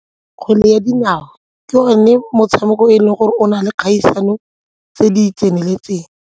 Kgwele ya dinao ke one motshameko e leng gore o na le kgaisano tse di tseneletseng.